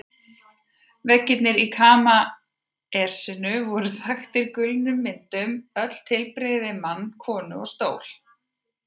Veggirnir í kamesinu voru þaktir gulnuðum myndum, öll tilbrigði við mann, konu og stól.